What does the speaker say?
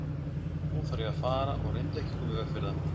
Nú þarf ég að fara og reyndu ekki að koma í veg fyrir það.